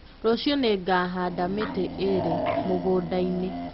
Rũciũ nĩngahanda mĩtĩ ĩrĩ mũgũnda-inĩ